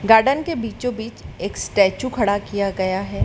Garden के बीचो बीच एक स्टैचू खड़ा किया गया है।